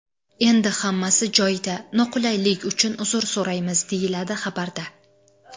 Endi hammasi joyida, noqulaylik uchun uzr so‘raymiz”, deyiladi xabarda.